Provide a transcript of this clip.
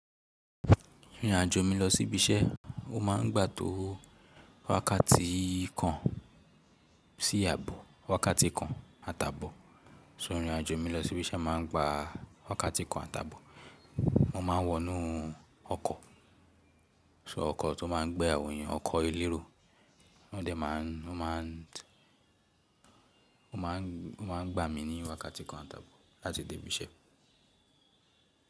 Ìrìnàjò mi lọ sí ibi iṣẹ́, ó máa ń gbà to wákàtí kan sí àbọ̀, wákàtí kan àtabọ̀. So ìrìnàjò mi lọ sí ibi iṣẹ́ máa ń gba wákàtí kan àtabọ̀. Mo ma ń wọ inú ọkọ̀. So ọkọ̀ tó máa ń gbé àwọn èèyàn, ọkọ̀ elérò. Wọ́n dẹ̀ máa ń, wọ́n ma ń, wọ́n ma ń, wọ́n ma ń gbà mí ní wákàtí kan àtabọ̀ láti dé ibi iṣẹ́.